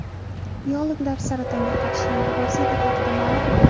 Biologlar saratonga qarshi yangi vosita haqida ma’lum qildi.